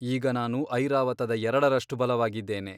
ಈಗ ನಾನು ಐರಾವತದ ಎರಡರಷ್ಟು ಬಲವಾಗಿದ್ದೇನೆ.